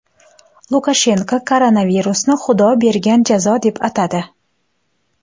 Lukashenko koronavirusni Xudo bergan jazo deb atadi.